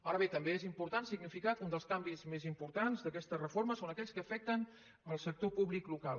ara bé també és important significar que un dels canvis més importants d’aquesta reforma són aquells que afecten el sector públic local